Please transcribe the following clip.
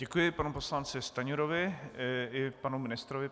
Děkuji panu poslanci Stanjurovi i panu ministrovi.